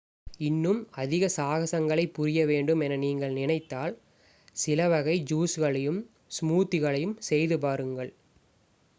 இன்னும் அதிக சாகசங்களைப் புரியவேண்டும் என நீங்கள் நினைத்தால் சிலவகை ஜூஸ்களையும் ஸ்மூத்திகளையும் செய்து பாருங்கள்